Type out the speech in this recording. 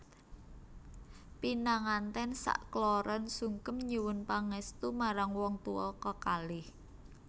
Pinangantèn sak kloron sungkem nyuwun pangèstu marang wong tuwa kekalih